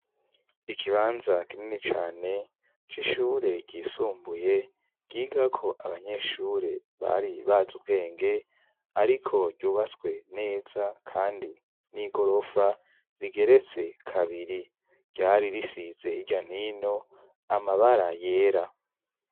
Ikibanza kinini cane co ishure ryisumbuye ryigako abanyeshure bari baza ubwenge, ariko ryubatswe neza, kandi n'i gorofa rigeretse kabiri ryari risize hirya n'ino amabara yera.